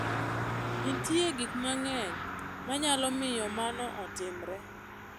Nitie gik mang'eny manyalo miyo mano otimre.